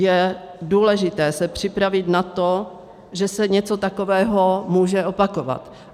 Je důležité se připravit na to, že se něco takového může opakovat.